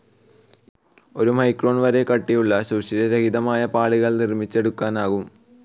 ഒരു മൈക്രോൺ വരെ കട്ടിയുള്ള, സുഷിരരഹിതമായ പാളികൾ നിർമ്മിച്ചെടുക്കാനാകും.